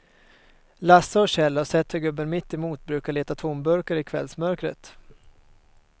Lasse och Kjell har sett hur gubben mittemot brukar leta tomburkar i kvällsmörkret.